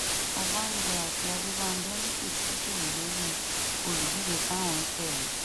ọbánjọ àti adébànjọ ni kò sì gírí lórí olùdíje táwọn ń tẹlé